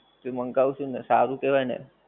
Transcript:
મંગાવશું ને સારું કેવાય ને.